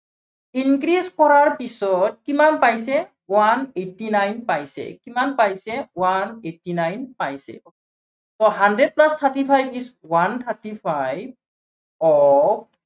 increase কৰাৰ পিছত কিমান পাইছে one eighty nine পাইছে, কিমান পাইছে one eighty nine পাইছে। so hundred plus thirty five is one thirty five of